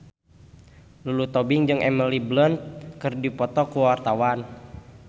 Lulu Tobing jeung Emily Blunt keur dipoto ku wartawan